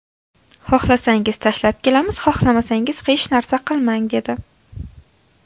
Xohlasangiz tashlab kelamiz, xohlamasangiz hech narsa qilmang, dedi.